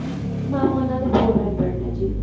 mam ਉਹਨਾ ਦੇ four hundred ਨੇ ਜੀ